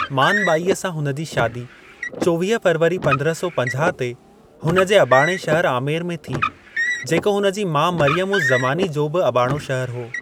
मान ॿाईअ सां हुन जी शादी चौवीह फ़रवरी पन्द्रहं सौ पंजाह ते हुन जे अॿाणे शहर आमेर में थी, जेको हुन जी माउ मरियम-उज़-ज़मानी जो बि अॿाणो शहर हो।